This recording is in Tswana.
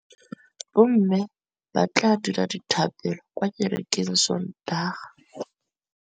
Bommê ba tla dira dithapêlô kwa kerekeng ka Sontaga.